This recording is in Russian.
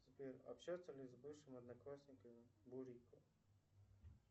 сбер общается ли с бывшими одноклассниками бурико